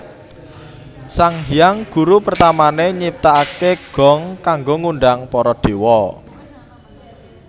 Sang Hyang Guru pertamané nyiptakaké gong kanggo ngundhang para dewa